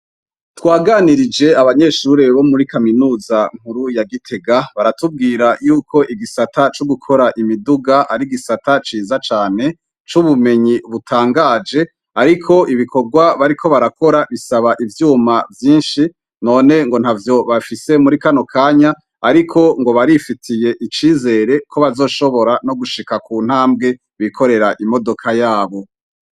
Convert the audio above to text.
Twaganirije abanyeshuri bo muri kaminuza nkuru ya gitega, baratubwira yuko igisata co gukora imiduga, ari igisata ciza cane, c'ubumenyi butanganje, ariko ibikorwa bariko barakora bisaba ivyuma vyinshi, none ntavyo bafise muri kano kanya, ariko barifitiye icizere ko bazoshobora gushika kuntambwe bikorera imodoka yabo.